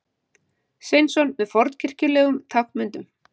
Sveinsson með fornkirkjulegum táknmyndum.